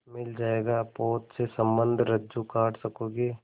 मिल जाएगा पोत से संबद्ध रज्जु काट सकोगे